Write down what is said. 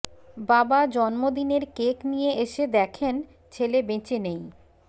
বাবা জন্মদিনের কেক নিয়ে এসে দেখেন ছেলে বেঁচে নেই